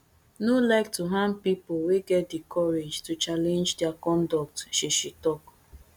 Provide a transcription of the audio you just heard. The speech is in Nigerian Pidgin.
no like to harm pipo wey get di courage to challenge dia conduct she she tok